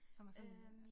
Som er sådan